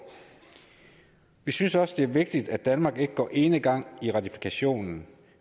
vi synes også det er vigtigt at danmark ikke går enegang i ratifikationen